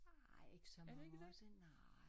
Nej ikke så mange år siden nej